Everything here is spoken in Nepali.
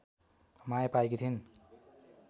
माया पाएकी थिइन्